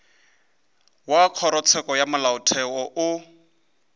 wa kgorotsheko ya molaotheo o